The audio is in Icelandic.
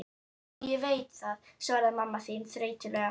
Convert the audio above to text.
Veit ég það, svaraði mamma þín þreytulega.